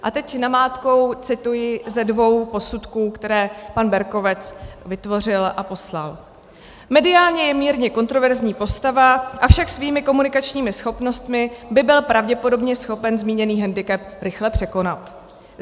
A teď namátkou cituji ze dvou posudků, které pan Berkovec vytvořil a poslal: "Mediálně je mírně kontroverzní postava, avšak svými komunikačními schopnostmi by byl pravděpodobně schopen zmíněný hendikep rychle překonat."